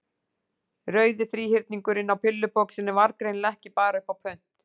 Rauði þríhyrningurinn á pilluboxinu var greinilega ekki bara upp á punt.